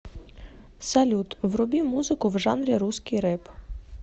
салют вруби музыку в жанре русский рэп